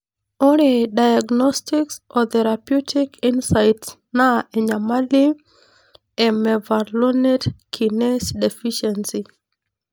Ore Diagnostics o therapeutic insights na enyamali e mevalonate kinase deficiency.